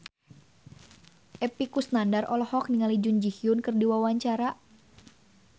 Epy Kusnandar olohok ningali Jun Ji Hyun keur diwawancara